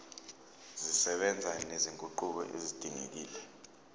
zisebenza nezinguquko ezidingekile